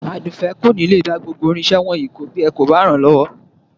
Àdùfẹ́ kò ní lè dá gbogbo irinṣẹ́ wọ̀nyìí kó bí ẹ kò bá ràn-án lọ́wọ́